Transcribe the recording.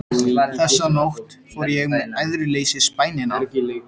Þessa nótt fór ég með æðruleysisbænina